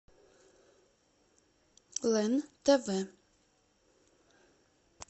лен тв